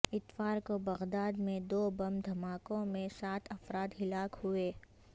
اتوار کو بغداد میں دو بم دھماکوں میں سات افراد ہلاک ہوئے